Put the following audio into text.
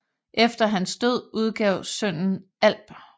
Efter hans død udgav sønnen Alb